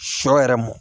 Sɔ yɛrɛ mɔ